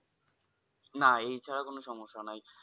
না এছাড়া কোনো সমস্যা নাই।